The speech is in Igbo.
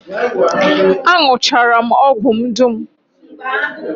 Aṅụchara m ọgwụ m dum